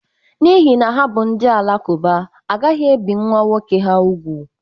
N'ihi na ha bụ ndị Alakuba, a gaghị ebi nwa nwoke ha ùgwù